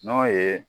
N'o ye